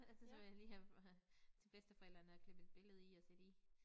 Så var jeg lige her ved til bedsteforældrene og klippe et billede i og sætte i